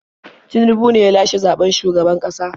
Tinubu ne ya lashe zaɓen shugaban ƙasa.